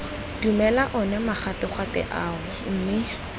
dumela one magatwegatwe ao mme